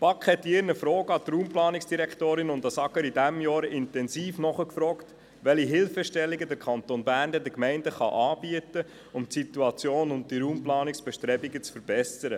Die BaK hat mit ihren Fragen an die Raumplanungsdirektorin und an das Amt für Gemeinden und Raumordnung (AGR) intensiv nachgefragt, welche Hilfestellungen der Kanton Bern den Gemeinden anbieten kann, um die Situation und die Raumplanungsbestrebungen zu verbessern.